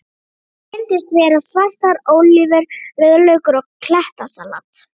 Hann reyndist vera: Svartar ólívur, rauðlaukur og klettasalat.